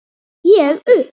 Ég upp